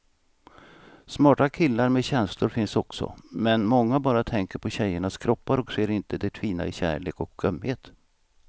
Smarta killar med känslor finns också, men många bara tänker på tjejernas kroppar och ser inte det fina i kärlek och ömhet.